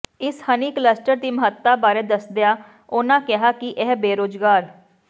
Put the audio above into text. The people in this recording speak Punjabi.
ਇਸ ਹਨੀ ਕਲੱਸਟਰ ਦੀ ਮਹੱਤਤਾ ਬਾਰੇ ਦੱਸਦਿਆਂ ਉਨਾਂ ਕਿਹਾ ਕਿ ਇਹ ਬੇਰੁਜ਼ਗਾਰ